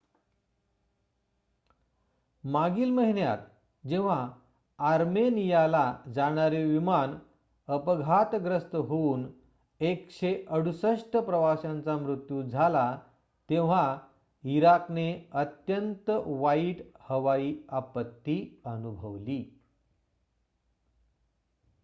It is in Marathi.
मागील महिन्यात जेव्हा आर्मेनियाला जाणारे विमान अपघातग्रस्त होऊन १६८ प्रवाशांचा मृत्यू झाला तेव्हा इराकने अत्यंत वाईट हवाई आपत्ती अनुभवली